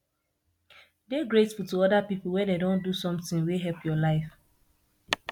dey grateful to oda pipo when dem don do something wey help your life